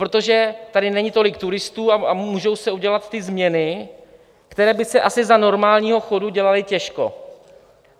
Protože tady není tolik turistů a můžou se udělat ty změny, které by se asi za normálního chodu dělaly těžko.